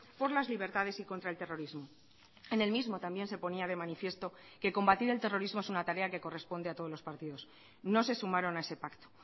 por las libertades y contra el terrorismo en el mismo también se ponía de manifiesto que combatir el terrorismo es una tarea que corresponde a todos los partidos no se sumaron a ese pacto